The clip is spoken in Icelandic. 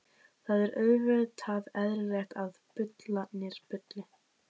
Það er auðvitað eðlilegt að bullurnar bulli.